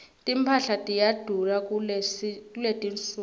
timphahla tiyadula kuletinsuku